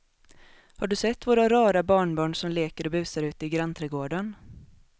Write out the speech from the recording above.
Har du sett våra rara barnbarn som leker och busar ute i grannträdgården!